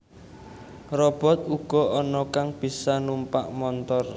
Robot uga ana kang bisa numpak montor